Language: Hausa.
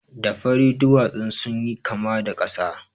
Da fari duwatsun sun yi kama da ƙasa.